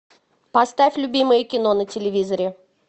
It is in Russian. поставь любимое кино на телевизоре